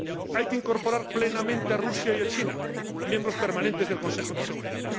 Hay que incorporar plenamente a Rusia y a China, miembros permanentes del Consejo de Seguridad.